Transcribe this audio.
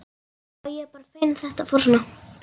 Já, ég er bara feginn að þetta fór svona.